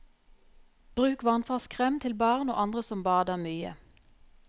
Bruk vannfast krem til barn og andre som bader mye.